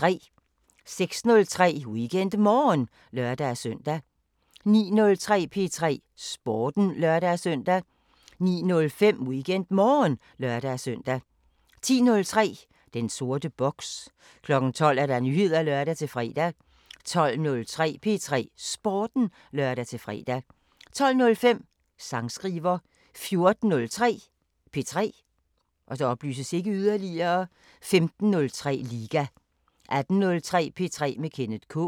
06:03: WeekendMorgen (lør-søn) 09:03: P3 Sporten (lør-søn) 09:05: WeekendMorgen (lør-søn) 10:03: Den sorte boks 12:00: Nyheder (lør-fre) 12:03: P3 Sporten (lør-fre) 12:05: Sangskriver 14:03: P3 15:03: Liga 18:03: P3 med Kenneth K